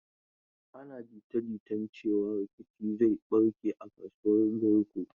Ana jita-jitan cewan rikici zai barke a kasuwan Garko.